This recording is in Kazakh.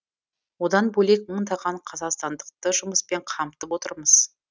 одан бөлек мыңдаған қазақстандықты жұмыспен қамтып отырмыз